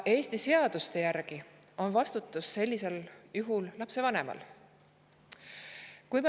Eesti seaduste järgi on vastutus sellisel juhul lapse vanemal.